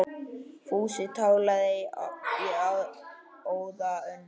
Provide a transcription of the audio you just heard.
Fúsi tálgaði í óða önn.